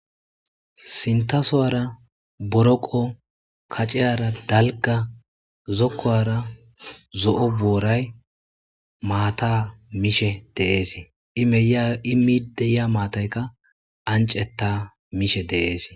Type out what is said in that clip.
Sinththa sowara boroqqo kacciyrra dalgga zokuwara zoo' boryyi matha mishe dees. Ii miya ii middi de'yya mathaykka anccetha mishshe dees.